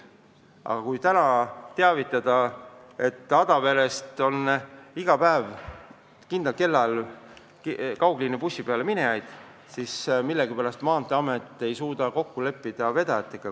Aga kui praegu teavitada, et näiteks Adaverest on iga päev kindlal kellaajal kaugliinibussi peale minejaid, siis millegipärast Maanteeamet ei suuda vedajatega kokku leppida.